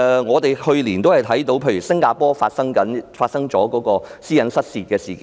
我們去年看到新加坡公共醫療系統發生私隱失竊事件。